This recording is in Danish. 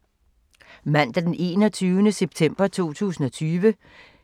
Mandag d. 21. september 2020